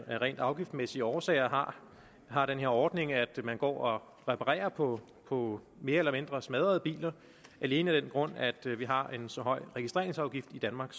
af rent afgiftsmæssige årsager har har den her ordning at man går og reparerer på på mere eller mindre smadrede biler alene af den grund at vi har en så høj registreringsafgift i danmark